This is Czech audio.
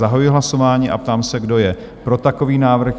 Zahajuji hlasování a ptám se, kdo je pro takový návrh?